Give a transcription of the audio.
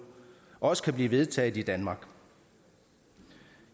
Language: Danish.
også kan blive vedtaget i danmark